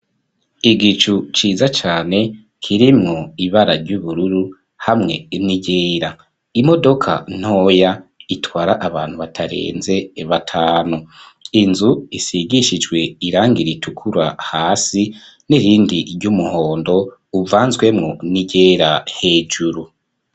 Igicu ciza cane kirimwo ibara ry'ubururu hamwe ni ryera imodoka ntoya itwara abantu batarenze batanu, inzu isigishijwe irangira ritukura hasi n'irindi ry'umuhondo uvanzemwo ni ryera hejuru.